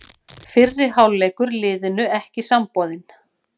Fyrri hálfleikur liðinu ekki samboðinn